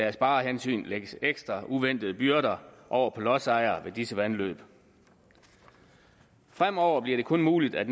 af sparehensyn kan lægge ekstra uventede byrder over på lodsejere ved disse vandløb fremover bliver det kun muligt at